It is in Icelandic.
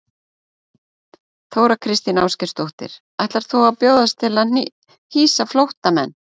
Þóra Kristín Ásgeirsdóttir: Ætlar þú að bjóðast til að hýsa flóttamenn?